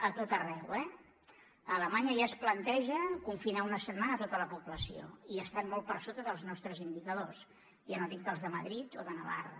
a tot arreu eh a alemanya ja es planteja confinar una setmana tota la població i estan molt per sota dels nostres indicadors ja no dic dels de madrid o de navarra